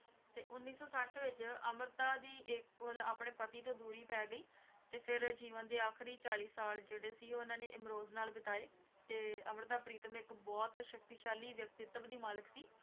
ਤੇ ਉੱਨੌ ਸੌ ਸੱਠ ਵਿੱਚ ਅੰਮ੍ਰਿਤਾ ਦੀ ਇੱਕ ਮਤਲਬ ਆਪਣੇ ਪਤੀ ਤੋਂ ਦੂਰੀ ਪੈ ਗਈ, ਤੇ ਫਿਰ ਜੀਵਨ ਦੇ ਆਖ਼ਰੀ ਚਾਲੀ ਸਾਲ ਜਿਹੜੇ ਸੀ ਉਹਨਾਂ ਨੇ ਇਮਰੋਜ਼ ਨਾਲ ਬਿਤਾਏ ਤੇ ਅੰਮ੍ਰਿਤਾ ਪ੍ਰੀਤਮ ਇੱਕ ਬਹੁਤ ਸ਼ਕਤੀਸ਼ਾਲੀ ਵਿਅਕਤਿਤਵ ਦੀ ਮਾਲਿਕ ਸੀ।